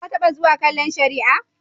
Ka taɓa zuwa kallon shari'a?